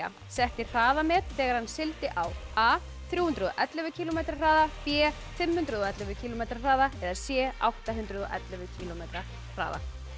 setti hraðamet þegar hann sigldi á a þrjú hundruð og ellefu kílómetra hraða b fimm hundruð og ellefu kílómetra hraða c átta hundruð og ellefu kílómetra hraða